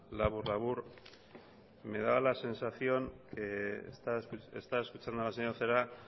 labur labur me da la sensación he estado escuchando a la señora celaá